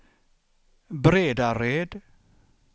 Bredared